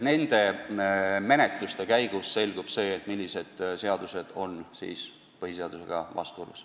Nende menetluste käigus selgub, millised seadused on põhiseadusega vastuolus.